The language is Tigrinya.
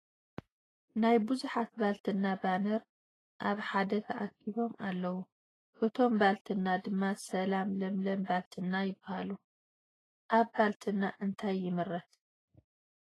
ናይ ብዙሓት ባልትና ባነር ኣብ ሓደ ተኣኪቦም ኣለዉ ። እቶም ባልትና ድማ ሰላም ፣ ለምለም ባልትና ይበሃሉ ። ኣብ ባልትና እንታይ ይምረት ?